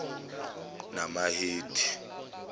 namahedi